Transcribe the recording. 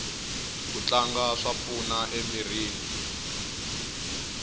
ku tlanga swa pfuna emirini